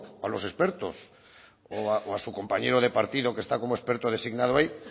a los expertos o a su compañero de partido que está como experto designado ahí